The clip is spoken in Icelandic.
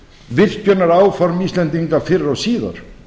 virkjunaráform íslendinga fyrr og síðar